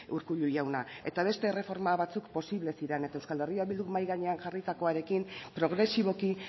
urkullu jauna eta beste erreforma batzuk posible ziren eta euskal herria bilduk mahai gainean jarritakoarekin progresiboki